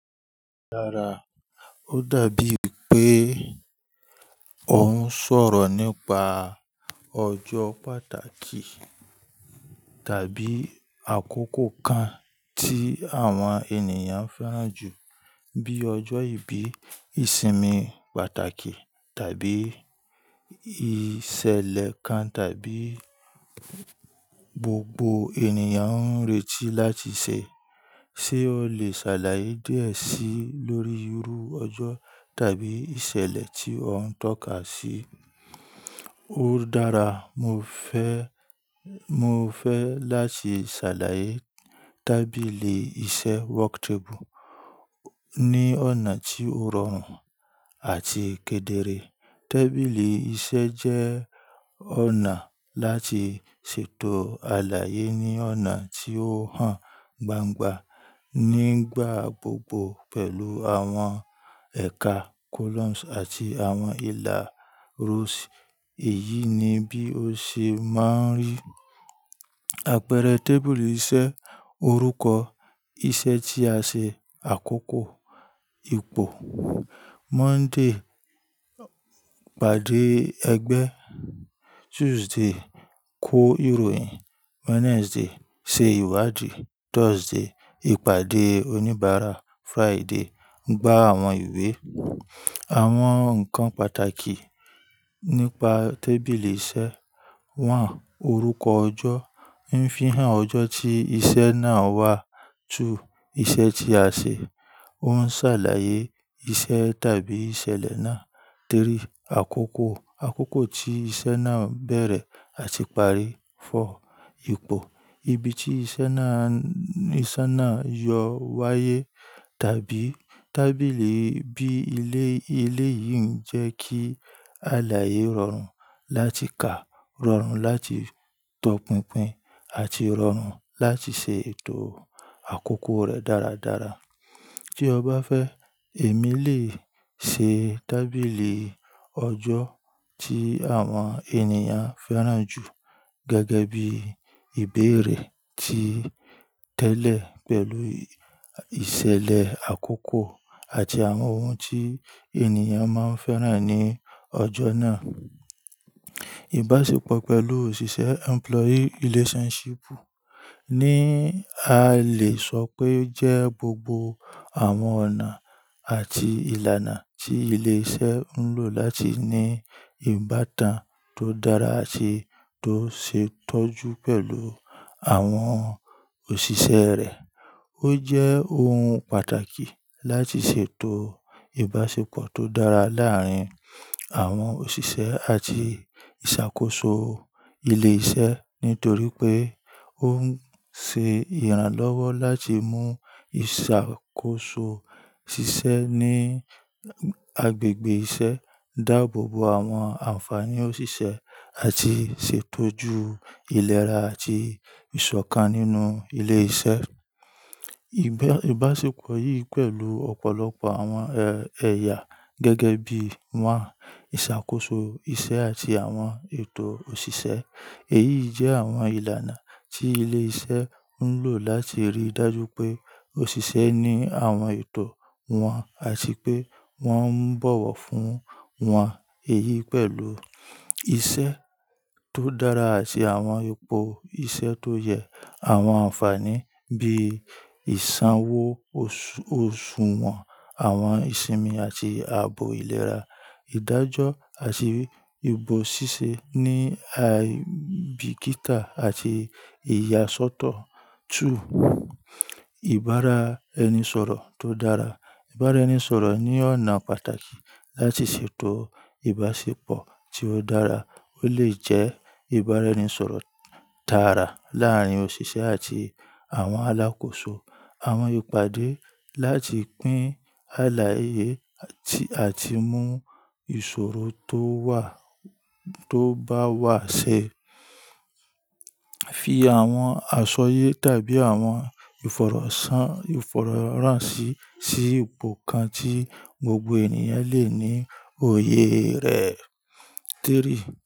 Dára. Ó dàbí è pé ó ń sọ̀rọ̀ nípa ọjọ́ pàtàkì tàbí àkókò kan tí àwọn ènìyàn fẹ́ràn jù, bí ọjọ́ ìbí, ìsinmi pàtàkì tàbí ìṣẹ̀lẹ̀ kan tàbí gbogbo ènìyàn ń retí láti ṣe. Ṣé o lè ṣàlàyé díẹ̀ sí i lórí irú ọjọ́ tàbí ìṣẹ̀lẹ̀ tí ó ń tọ́ka sí? Ó dára. Mo fẹ́, mo fẹ́ láti ṣàlàyé tábìlì iṣẹ́ work table ní ọ̀nà tí ó rọrùn àti kedere. Tábìlì iṣẹ́ jẹ́ ọ̀nà láti ṣètò àlàyé ní ọ̀nà tí ó hàn gbangba nígbà gbogbo pẹ̀lú àwọn ẹ̀ka columns àti àwọn ìlà rows. Èyí ni bí ó ṣe máa ń rí. Àpẹẹrẹ tábìlì iṣẹ́, orúkọ iṣẹ́ tí a ṣe, àkókò, ipò. Monday, ìpàdé ẹgbẹ́. Tuesday, kó ìròyìn. Wednesday, ṣe ìwádìí. Thursday, ìpàdé oníbàárà. Friday, gbá àwọn ìwé. Àwọn nǹkan pàtàkì nípa tábìlì iṣẹ́. One, orúkọ ọjọ́ ń fi hàn ọjọ́ tí iṣẹ́ náà wà. Two, iṣẹ́ tí a ṣe. Ó ń ṣàlàyé iṣẹ́ tàbí ìṣẹ̀lẹ̀ náà. Three, àkókò. Àkókò tí iṣẹ́ náà bẹ̀rẹ̀ àti parí. Four, ipò. Ibi tí iṣẹ́ náà, iṣẹ́ náà yọ wáyé. Tàbí tábìlì bí i ilé, ilé yìí ń jẹ́ kí àlàyé rọrùn láti kà, rọrùn láti tọpinpin àti rọrùn láti ṣe ètò àkókò rẹ̀ dáradára. Tí o bá fẹ́, èmi lè ṣe tábìlì ọjọ́ tí àwọn ènìyàn fẹ́ràn jù gẹ́gẹ́ bí ìbéèrè tí tẹ́lẹ̀ pẹ̀lú ìṣẹ̀lẹ̀ àkókò àti àwọn ohun tí ènìyàn máa ń fẹ́ràn ní ọjọ́ náà. Ìbáṣepọ̀ pẹ̀lú òṣìṣẹ́ employee relationship ni a lè sọ pé jẹ́ gbogbo àwọn ọ̀nà àti ìlànà tí ilé iṣẹ́ ń lò láti ní ìbátan tó dára àti tó ṣe tọ́jú pẹ̀lú àwọn òṣìṣẹ́ rẹ̀. Ó jẹ́ ohun pàtàkì láti ṣètò ìbáṣepọ̀ tó dára láàárín àwọn òṣìṣẹ́ àti ìṣàkóso ilé iṣẹ́ nítorí pé ó ń ṣe ìrànlọ́wọ́ láti mú ìṣàkóso ṣíṣe ní agbègbè iṣẹ́, dáàbò bo àwọn ànfàní òṣìṣẹ́ àti ṣètójú ìlera àti ìṣọ̀kan nínú ilé iṣẹ́. Ìbáṣepọ̀ yìí pẹ̀lú ọ̀pọ̀lọpọ̀ àwọn ẹ̀ya gẹ́gẹ́ bí i wá, ìṣàkóso iṣẹ́ àti àwọn ètò òṣìṣẹ́. Èyí jẹ́ àwọn ìlànà tí ilé iṣẹ́ ń lò láti rí i dájú pé òṣìṣẹ́ ní àwọn ètò wọn àti pé wọ́n ń bọ̀wọ̀ fún wọn. Èyí pẹ̀lú iṣẹ́ tó dára àti àwọn ipò iṣẹ́ tó yẹ àwọn ànfàní bí i ìsanwó òṣù wọn, àwọn ìsinmi àti ààbò ìlera, ìdájọ́ àti ìbò ṣíṣe ní aibikita àti ìyàsọ́tọ̀. Two, ìbára-ẹni-sọ̀rọ̀ tó dára. Ìbára-ẹni-sọ̀rọ̀ ní ọ̀nà pàtàkì láti ṣètò ìbáṣepọ̀ tí ó dára. Ó lè jẹ́ ìbára-ẹni-sọ̀rọ̀ dára láàárín òṣìṣẹ́ àti àwọn alákòóso, àwọn ìpàdé láti pín àlàyé àti mú ìṣòro tó wà tó bá wà ṣe Fi àwọn àṣọyé tàbí àwọn ìfọ̀rọ̀sàn ìfọ̀rọ̀ràn sí, sí ipò kan tí gbogbo ènìyàn lè ní òye rẹ̀. Three.